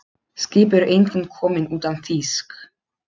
Skip eru engin komin utan þýsk.